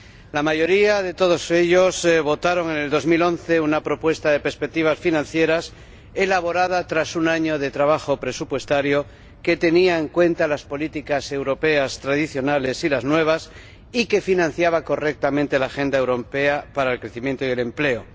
La mayoría de todos ellos votaron, en 2011, a favor de una propuesta de perspectivas financieras, elaborada tras un año de trabajo presupuestario, que tenía en cuenta las políticas europeas tradicionales y las nuevas y que financiaba correctamente la agenda europea para el crecimiento y el empleo.